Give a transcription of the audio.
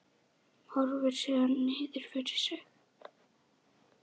Horfir síðan niður fyrir sig.